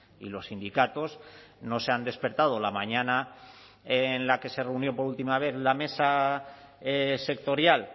y los sindicatos no se han despertado la mañana en la que se reunió por última vez la mesa sectorial